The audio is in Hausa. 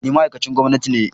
Ni ma'aikacin gwamnati ne